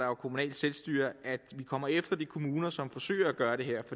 jo kommunalt selvstyre at vi kommer efter de kommuner som forsøger at gøre det her